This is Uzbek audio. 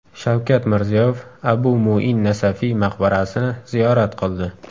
Shavkat Mirziyoyev Abu Muin Nasafiy maqbarasini ziyorat qildi.